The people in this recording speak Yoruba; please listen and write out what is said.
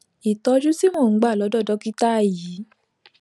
ìtójú tí mò ń gbà lódò dókítà yìí